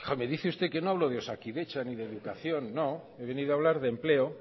me dice usted que no hablo de osakidetza ni de educación no he venido a hablar de empleo